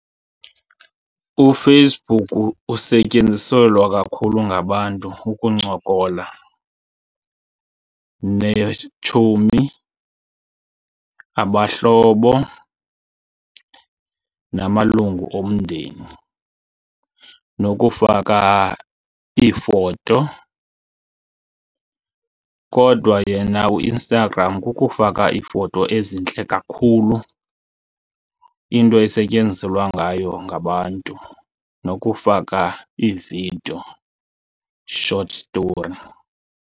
UFacebook usetyenziselwa kakhulu ngabantu ukuncokola neetshomi, abahlobo, namalungu omndeni nokufaka iifoto. Kodwa yena uInstagram kukufaka iifoto ezintle kakhulu into esetyenziselwa ngayo ngabantu nokufaka iividiyo, short story.